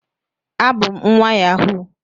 abum nwa yahoo